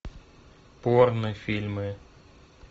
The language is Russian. порно фильмы